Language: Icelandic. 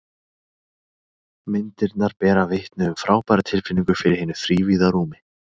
Myndirnar bera vitni um frábæra tilfinningu fyrir hinu þrívíða rúmi.